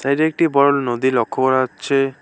এটি একটি বড় নদী লক্ষ করা অচ্ছে ।